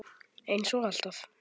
Eins og alltaf.